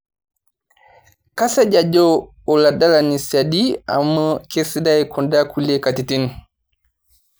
Kasej ajo oladalani siadi amu kesidai kunda kulie katitin